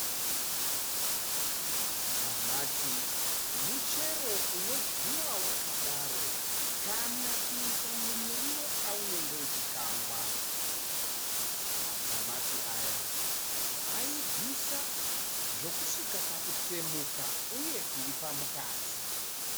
Matamati muchero unodyiwa wakadaro kana kuisa mumuriwo paunenge uchiukangwa. Matamati aya aibvisa zvokusvika pakutsemuka uye kuipa mukati.